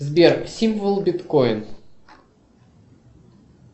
сбер символ биткоин